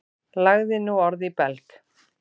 Lagði nú orð í belg.